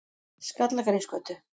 Skallagrímsgötu